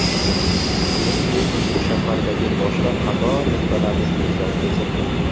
Shuningdek, u shahardagi boshqa qator nuqtalarni ko‘zdan kechirdi.